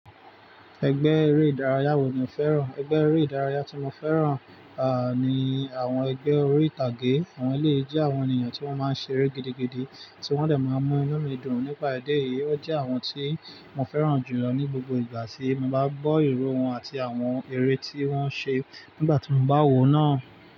Ẹgbẹ́ eré ìdárayá wo ni o fẹ́ràn? Ẹgbẹ́ eré ìdárayá tí mo fẹ́ràn, ah, ni àwọn ẹgbẹ́ eré ìtàgé. Àwọn leè jẹ́ àwọn ènìyàn tí wọ́n máa ń ṣeré gidigidi, tí wọ́n dẹ̀ máa ń mú inú mi dùn nípa idi eyìí. O jẹ́ àwọn tí mo fẹ́ràn jùlọ ní gbogbo ìgbà tí mo bá gbọ́ ìró won àti àwọn eré tí wọ́n ṣe nígbà tí mo bá wo náà.